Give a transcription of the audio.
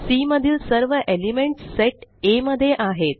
C मधील सर्व elements set Aमध्ये आहेत